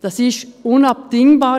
Das ist unabdingbar.